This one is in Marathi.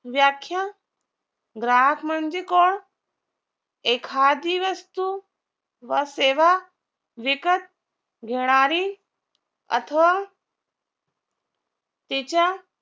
व्याख्या ग्राहक म्हणजे कोण एखादी वस्तू व सेवा विकत घेणारी अथवा तिच्या